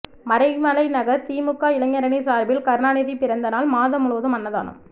மறைமலைநகர் திமுக இளைஞரணி சார்பில் கருணாநிதி பிறந்தநாள் மாதம் முழுவதும் அன்னதானம்